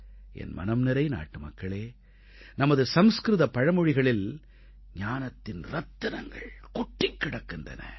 என் மனம்நிறை நாட்டுமக்களே நமது சம்ஸ்க்ருத பழமொழிகளில் ஞானத்தின் ரத்தினங்கள் கொட்டிக் கிடக்கின்றன